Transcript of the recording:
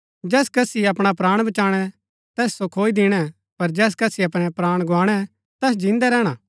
जैस कसी अपणा प्राण बचाणै तैस सो खोई दिणै पर जैस कसी अपणै प्राण गुआणै तैस जिन्दै रैहणा